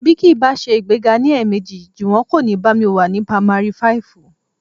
Bí kì í bá ṣe ìgbéga ní ẹ̀ẹ̀mejì, Jùwọ́n kò ní bá mi wá ní pamari fáìfù